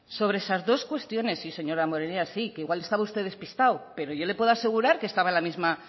sobre esas dos cuestiones sí señor damborenea sí que igual estaba usted despistado pero yo le puedo asegurar que estaba en la misma